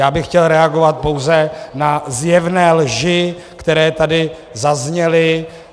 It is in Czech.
Já bych chtěl reagovat pouze na zjevné lži, které tady zazněly.